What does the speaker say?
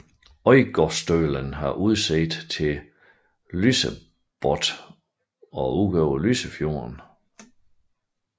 Øygardstølen har udsigt til Lysebotn og ud over Lysefjorden